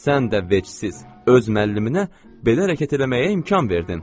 Sən də vecsiz öz müəlliminə belə hərəkət eləməyə imkan verdin.